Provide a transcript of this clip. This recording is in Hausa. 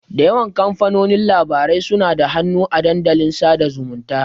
Da yawan kamfanonin labarai suna da hannu a dandalin dasa zumunta.